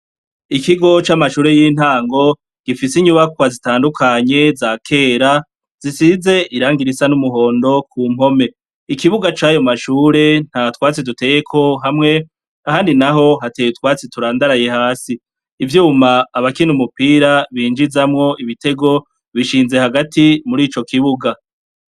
Ikigo c'amashure y'intango gifise inyubakwa zitandukanye zakera zisize irangi risa n'umuhondo kumpome, ikibuga cayo mashure ntatwatsi duteyeko hamwe handi naho hateye utwatsi turandaraye, ivyuma abakina umupira binjizamwo ibitego bishinze hagati mur'ico kibuga.